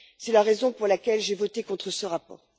C'est la raison pour laquelle j'ai voté contre ce rapport.